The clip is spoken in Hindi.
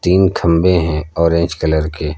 तीन खंभे हैं ऑरेंज कलर के।